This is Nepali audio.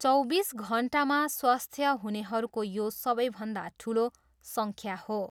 चौबिस घन्टामा स्वस्थ्य हुनेहरूको यो सबैभन्दा ठुलो सङ्ख्या हो।